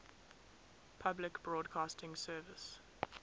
public broadcasting service